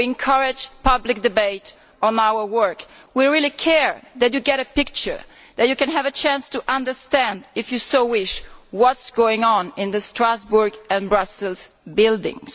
We encourage public debate on our work. We really care that they get a picture and that they have a chance to understand, if they so wish, what is going on in the Strasbourg and Brussels buildings.